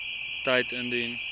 tyd indien